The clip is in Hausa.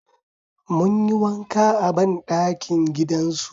Mun yi wanka a banɗakin gidan su